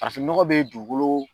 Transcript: Farafinnɔgɔ bɛ dugukolo